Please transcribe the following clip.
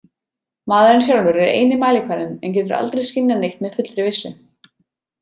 Maðurinn sjálfur er eini mælikvarðinn en getur aldrei skynjað neitt með fullri vissu.